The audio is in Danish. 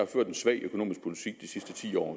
ført en svag økonomisk politik de sidste ti år og